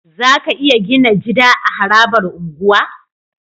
Zaka iya Gina jida a harabar unguwa